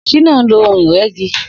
Shina n lò óhùn-Irẹ̀gí